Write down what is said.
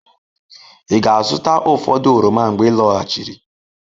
Ị ga-azụta ụfọdụ oroma mgbe ị lọghachiri?